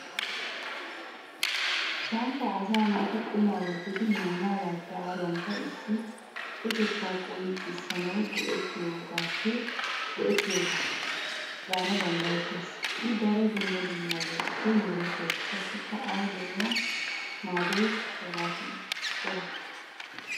Samppay asa naati qumma wottidi maanagappe aruwanikka issippetetta qonccissanawu go"ettiyoogaba gana danddayettees.I daro dumma dummabatuppe meretees qassikka awu de'iya maddoyikka hegatton cora.